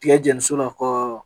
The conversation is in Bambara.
Tiga jɛni so la